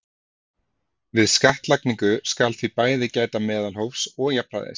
Við skattlagningu skal því bæði gæta meðalhófs og jafnræðis.